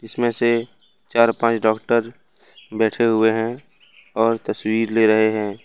इसमें से चार पांच डॉक्टर बैठे हुए हैं और तस्वीर ले रहे हैं।